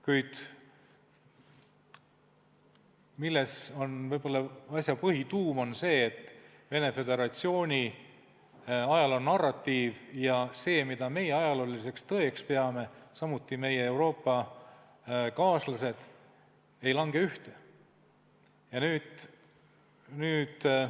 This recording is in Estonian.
Kuid asja põhituum võib olla see, et Venemaa Föderatsiooni ajaloonarratiiv ja see, mida meie ja me Euroopa kaaslased ajalooliseks tõeks peame, ei lange ühte.